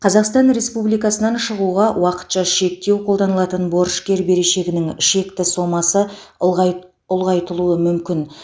қазақстан республикасынан шығуға уақытша шектеу қолданылатын борышкер берешегінің шекті сомасы ұлғай ұлғайтылуы мүмкін